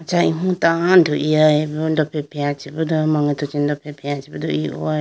Acha imu tando igayibo dofre freya chibodo mangeto chi dofre freya chibodo igayibo.